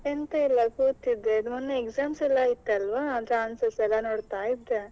ಎಂತ ಇಲ್ಲ ಕೂತಿದ್ದೆ ಮೊನ್ನೆ exams ಎಲ್ಲಾ ಆಯ್ತಲ್ವಾ? ಅದ್ರ answers ಎಲ್ಲ.